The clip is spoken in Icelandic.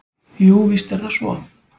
Jú, víst er það svo.